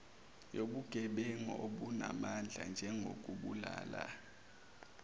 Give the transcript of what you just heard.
yobugebengu obunamandla njengokubulala